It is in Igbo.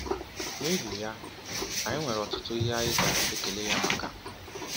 N'ihi ya, anyị nwere ọtụtụ ihe anyị ga-ekele ya maka.